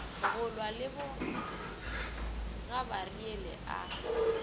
go lwa le bogabariele a